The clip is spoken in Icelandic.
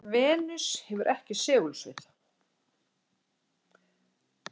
venus hefur ekki segulsvið